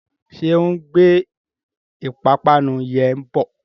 Ṣé ó ń gbé ìpapánu yẹn bọ?